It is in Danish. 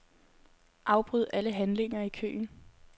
Afbryd alle handlinger i køen.